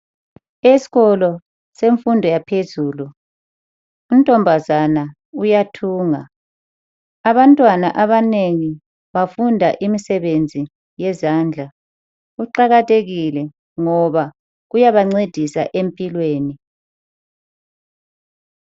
Eskolo semfundo yaphezulu untombazana uyathunga ,abantwana abanengi bafunda imisebenzi yezandla, kuqakathekile ngoba kuyabancedisa empilweni.